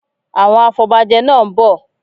Àwọn afọbajẹ náá ń bọ̀